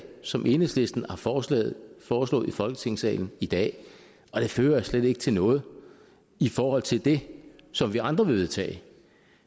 som enhedslisten har foreslået foreslået i folketingssalen i dag og det fører slet ikke til noget i forhold til det som vi andre vil vedtage